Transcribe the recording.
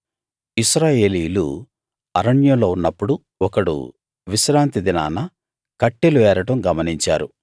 ఇశ్రాయేలీయులు అరణ్యంలో ఉన్నప్పుడు ఒకడు విశ్రాంతి దినాన కట్టెలు ఏరడం గమనించారు